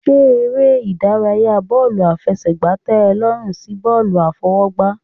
Ṣé eré ìdárayá bọ́ọ̀lù àfẹsẹ̀gbá tẹ ọ lọ́rùn sí bọ́ọ̀lù àfọwọ́gbá.